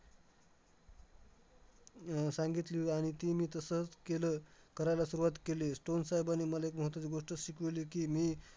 अह सांगितली आणि ती मी तसंच केलं, करायला सुरुवात केली. स्टोन साहेबांनी मला एक महत्त्वाची गोष्ट शिकवली की, मी